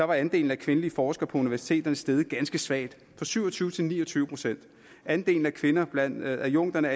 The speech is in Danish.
var andelen af kvindelige forskere på universitetet steget ganske svagt fra syv og tyve til ni og tyve procent andelen af kvinder blandt adjunkterne